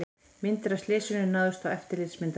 Myndir af slysinu náðust á eftirlitsmyndavél